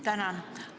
Tänan!